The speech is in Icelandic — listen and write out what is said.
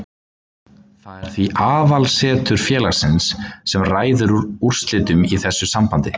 Það er því aðalaðsetur félagsins sem ræður úrslitum í þessu sambandi.